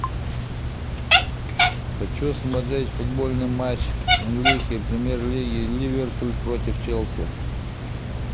хочу смотреть футбольный матч английской премьер лиги ливерпуль против челси